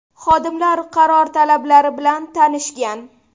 Xodimlar qaror talablari bilan tanishgan.